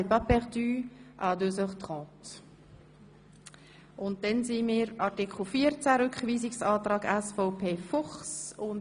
Zu Artikel 14 liegt ein Rückweisungsantrag SVP Fuchs vor.